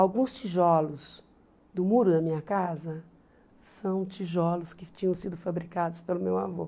Alguns tijolos do muro da minha casa são tijolos que tinham sido fabricados pelo meu avô.